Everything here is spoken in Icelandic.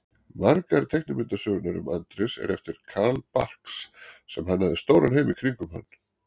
Margar teiknimyndasögurnar um Andrés eru eftir Carl Barks sem hannaði stóran heim í kringum hann.